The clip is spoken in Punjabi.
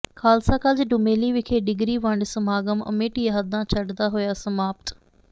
ਖ਼ਾਲਸਾ ਕਾਲਜ ਡੁਮੇਲੀ ਵਿਖੇ ਡਿਗਰੀ ਵੰਡ ਸਮਾਗਮ ਅਮਿੱਟ ਯਾਦਾਂ ਛੱਡਦਾ ਹੋਇਆ ਸਮਾਪਤ